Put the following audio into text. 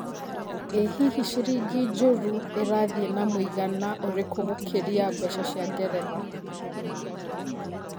ĩ hihi ciringi njũru ĩrathĩe na mũigana ũrikũ gũkĩria mbeca cia ngeretha